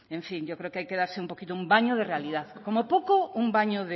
en fin yo creo que hay que darse un poquito un baño de realidad como poco un baño